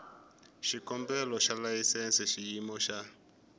xikombelo xa layisense xiyimo xa